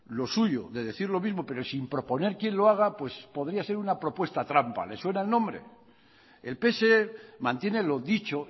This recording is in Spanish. lo suyo de decir lo mismo pero sin proponer quien lo haga pues podría ser una propuesta trampa le suena el nombre el pse mantiene lo dicho